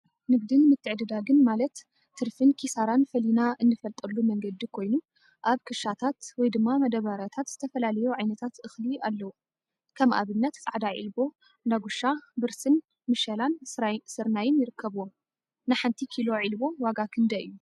ንግድን ምትዕድዳግን ማለት ትርፊን ኪሳራን ፈሊና እንፈልጠሉ መንገዲ ኮይኑ፤ አብ ክሻታት /መዳበርያታት/ ዝተፈላለዩ ዓይነት እክሊታት አለው፡፡ ከም አብነት ፃዕዳ ዒልቦ፣ ዳጉሻ፣ ብርስን፣ መሸላን ስርናይን ይርከቡዎም፡፡ ንሓንቲ ኪሎ ዒልቦ ዋጋ ክንደይ እዩ?